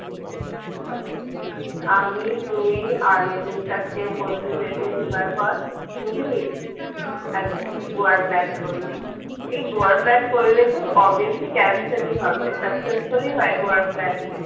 আমি তুই আরো দু চারটে বন্ধুদেরকে জোগাড় কর বুঝলি গোয়ার plan করি এই গোয়ার plan করলে তো obviously cancel ই হবে successfully হয় গোয়ার plan